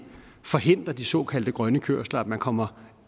forhindre de såkaldte grønne kørsler at man kommer